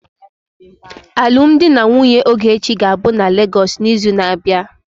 Alụmdi na nwunye Ogechi ga-abụ na Lagos n'izu na-abịa.